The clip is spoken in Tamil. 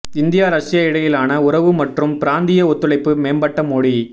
இந்தியா ரஷ்யா இடையிலான உறவு மற்றும் பிராந்திய ஒத்துழைப்பு மேம்பட மோடி